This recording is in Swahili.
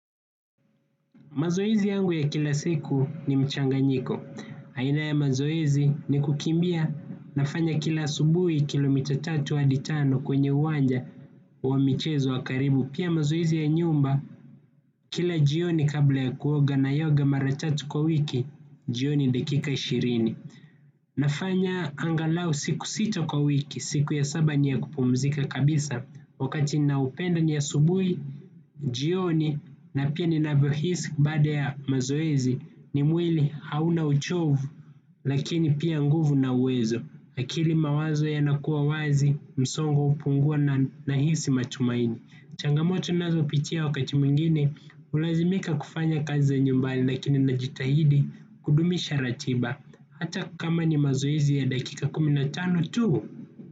Mazoezi yangu ya kila siku ni mchanganyiko. Aina ya mazoezi ni kukimbia, nafanya kila asubuhi kilomita tatu hadi tano kwenye uwanja wa michezo wa karibu. Pia mazoezi ya nyumba kila jioni kabla ya kuoga naioga mara tatu kwa wiki jioni dakika ishirini. Nafanya angalau siku sita kwa wiki, siku ya saba ni ya kupumzika kabisa. Wakati niaupenda ni asubuhi, jioni na pia ninavyohisi baada ya mazoezi ni mwili hauna uchovu, lakini pia nguvu na uwezo. Lakini mawazo yanakua wazi, msongo hupungua na nahisi matumaini. Changamoto ninazopitia wakati mwingine, hulazimika kufanya kazi za nyumbali lakini ninajitahidi kudumisha ratiba. Hata kama ni mazoezi ya dakika kumi na tano tu.